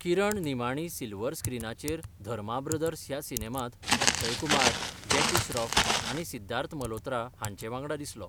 किरण निमाणी सिल्वर स्क्रीनाचेर धर्मा ब्रदर्स ह्या सिनेमांत अक्षय कुमार, जॅकी श्रॉफ आनी सिद्धार्थ मल्होत्रा हांचे वांगडा दिसलो.